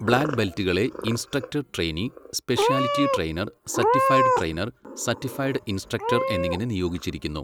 Black ബെൽറ്റുകളെ instructor trainee, speciality trainer, certified trainer, certified instructor എന്നിങ്ങനെ നിയോഗിച്ചിരിക്കുന്നു.